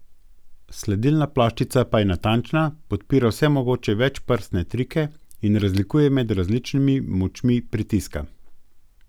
Sledilna ploščica pa je natančna, podpira vse mogoče večprstne trike in razlikuje med različnimi močmi pritiska.